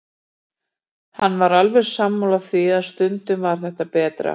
Hann var alveg sammála því að stundum var það betra.